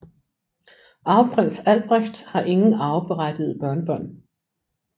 Arveprins Albrecht har ingen arveberettigede børnebørn